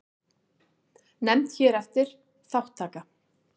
Nefnd hér eftir: Þátttaka.